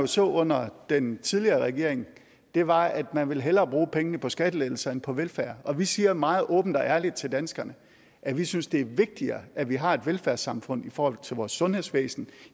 så under den tidligere regering var at man hellere ville bruge pengene på skattelettelser end på velfærd vi siger meget åbent og ærligt til danskerne at vi synes det er vigtigere at vi har et velfærdssamfund i forhold til vores sundhedsvæsen